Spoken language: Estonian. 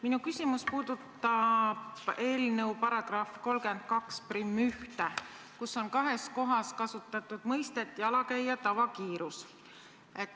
Minu küsimus puudutab § 32¹, kus on kahes kohas kasutatud mõistet "jalakäija tavakiirus".